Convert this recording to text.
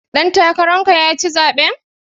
Ɗan takarar ka ya ci zaɓen.